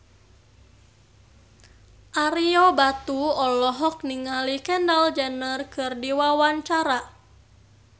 Ario Batu olohok ningali Kendall Jenner keur diwawancara